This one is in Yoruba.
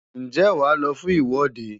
Ǹjẹ́ wàá lọ fún ìwọ́de?